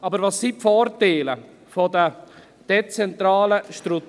Aber welches sind die Vorteile der dezentralen Strukturen?